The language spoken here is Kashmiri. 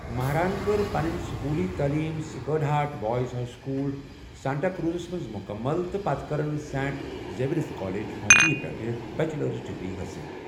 مہرَاہن كٕر پنٕنہِ سکوٗلٕی تٔعلیٖم Sacred Heart Boys High School, ساتٹا کروُزَس منٛز مُکمل تہٕ پتہٕ كرٕن سینٹ زیویئر کالیج، ممبئی پٮ۪ٹھہٕ بیچلر ڈگری حٲصَل ۔